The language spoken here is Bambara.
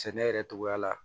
Sɛnɛ yɛrɛ togoya la